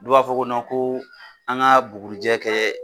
Dɔw b'a fɔ ko ko an ka bugurujɛ kɛ